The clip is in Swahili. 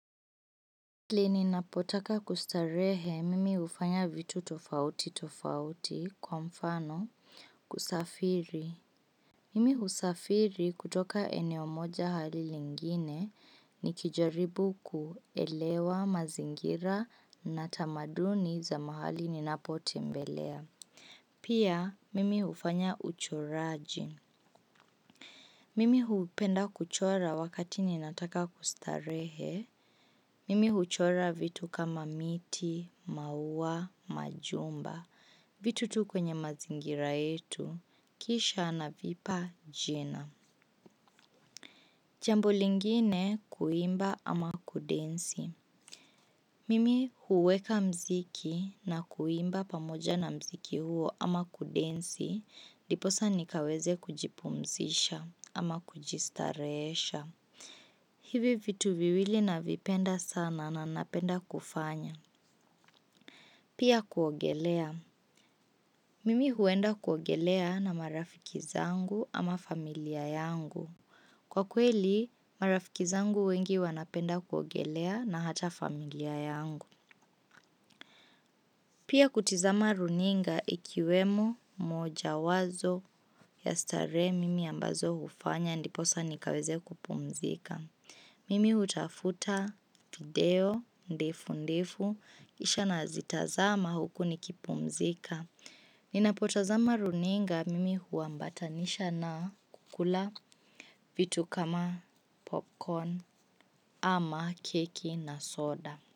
Lini, ninapotaka kustarehe mimi hufanya vitu tofauti tofauti kwa mfano kusafiri. Mimi husafiri kutoka eneo moja hadi lingine ni kijaribu kuelewa mazingira na tamaduni za mahali ninapo tembelea. Pia mimi hufanya uchoraji. Mimi hupenda kuchora wakati ninataka kustarehe. Mimi huchora vitu kama miti, mauwa, majumba, vitu tu kwenye mazingira yetu, kisha na vipa jina. Jambo lingine, kuimba ama kudensi. Mimi huweka mziki na kuimba pamoja na mziki huo ama kudensi, ndi posa nikaweze kujipumzisha ama kujistarehesha. Hivi vitu viwili na vipenda sana na napenda kufanya pia kuogelea. Mimi huenda kuogelea na marafiki zangu ama familia yangu. Kwa kweli, marafiki zangu wengi wanapenda kuogelea na hata familia yangu. Pia kutizama runinga ikiwemo moja wazo ya starehe mimi ambazo hufanya ndiposa nikaweze kupumzika, mimi hutafuta video ndefu ndefu, kisha na zitazama huku ni kipumzika. Ninapotazama runinga, mimi huambatanisha na kukula vitu kama popcorn ama keki na soda.